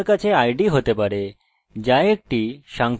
এটি একটি সংখ্যা যা প্রতিবার বৃদ্ধি হতে যাচ্ছে